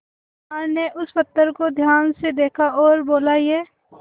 सुनार ने उस पत्थर को ध्यान से देखा और बोला ये